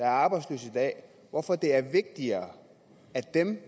er arbejdsløs hvorfor det er vigtigere at den